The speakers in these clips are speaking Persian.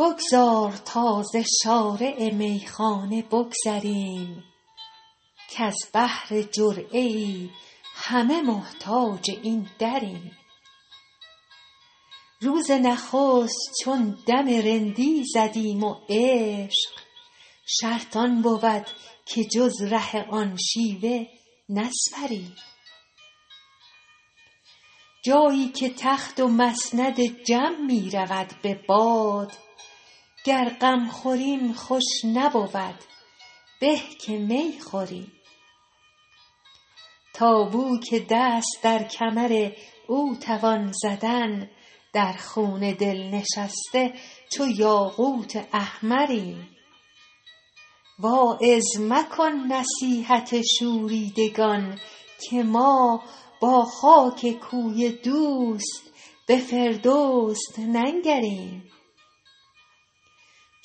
بگذار تا ز شارع میخانه بگذریم کز بهر جرعه ای همه محتاج این دریم روز نخست چون دم رندی زدیم و عشق شرط آن بود که جز ره آن شیوه نسپریم جایی که تخت و مسند جم می رود به باد گر غم خوریم خوش نبود به که می خوریم تا بو که دست در کمر او توان زدن در خون دل نشسته چو یاقوت احمریم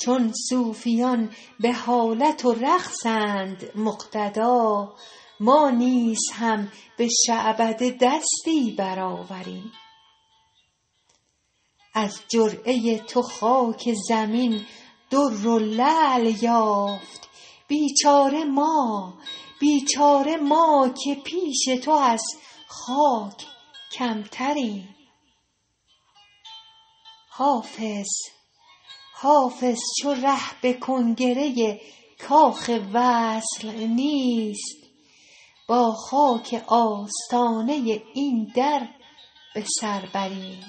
واعظ مکن نصیحت شوریدگان که ما با خاک کوی دوست به فردوس ننگریم چون صوفیان به حالت و رقصند مقتدا ما نیز هم به شعبده دستی برآوریم از جرعه تو خاک زمین در و لعل یافت بیچاره ما که پیش تو از خاک کمتریم حافظ چو ره به کنگره کاخ وصل نیست با خاک آستانه این در به سر بریم